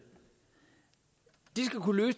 de skal kunne